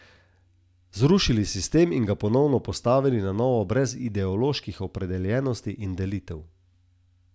Zrušili sistem in ga postavili na novo brez ideoloških opredeljenosti in delitev.